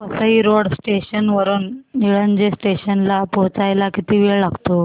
Vasai road station वरून Nilaje station ला पोहचायला किती वेळ लागतो